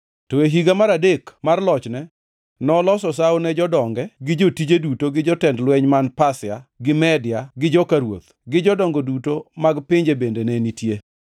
to e higa mar adek mar lochne noloso sawo ne jodonge gi jotije duto gi jotend lweny man Pasia gi Media gi joka ruoth, gi jodongo duto mag pinje bende ne nitie.